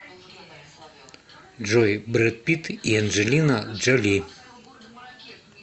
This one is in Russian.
джой бред питт и анджелина джоли